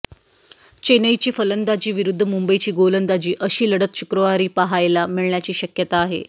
चेन्नईची फलंदाजी विरुद्ध मुंबईची गोलंदाजी अशी लढत शुक्रवारी पाहायला मिळण्याची शक्यता आहे